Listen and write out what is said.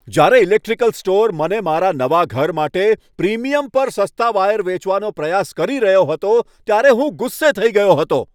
જ્યારે electrical store મને મારા નવા ઘર માટે પ્રીમિયમ પર સસ્તા વાયર વેચવાનો પ્રયાસ કરી રહ્યો હતો ત્યારે હું ગુસ્સે થઈ ગયો હતો.